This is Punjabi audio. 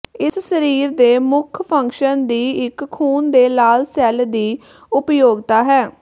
ਇਸ ਸਰੀਰ ਦੇ ਮੁੱਖ ਫੰਕਸ਼ਨ ਦੀ ਇੱਕ ਖ਼ੂਨ ਦੇ ਲਾਲ ਸੈੱਲ ਦੀ ਉਪਯੋਗਤਾ ਹੈ